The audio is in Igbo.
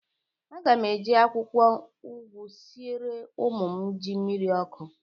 Aga m eji akwụkwọ ụgwụ siere ụmụ m ji mmiri ọkụ.